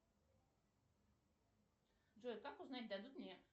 джой как узнать дадут мне